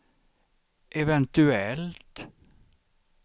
eventuellt